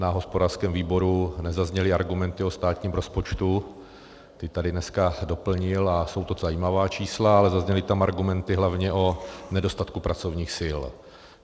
Na hospodářském výboru nezazněly argumenty o státním rozpočtu, ty tady dneska doplnil a jsou to zajímavá čísla, ale zazněly tam argumenty hlavně o nedostatku pracovních sil.